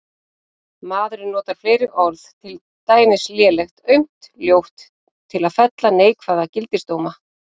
Maðurinn notar fleiri orð, til dæmis lélegt, aumt, ljótt, til að fella neikvæða gildisdóma.